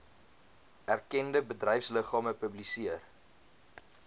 erkende bedryfsliggame publiseer